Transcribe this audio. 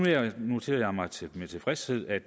jeg noterede mig med tilfredshed at